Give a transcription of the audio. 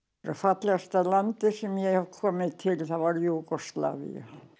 fallegasta landið sem ég hef komið til er Júgóslavía